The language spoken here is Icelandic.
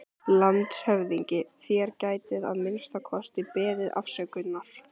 LANDSHÖFÐINGI: Þér gætuð að minnsta kosti beðist afsökunar.